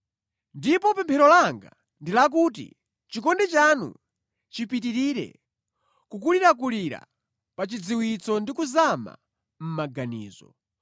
Ndipo pemphero langa ndi lakuti chikondi chanu chipitirire kukulirakulira pa chidziwitso ndi kuzama mʼmaganizo,